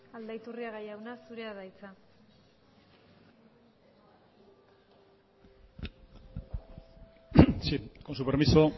aldaiturriaga jauna zurea da hitza sí con su permiso